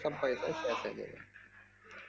সব পয়সা খেয়ে নেবে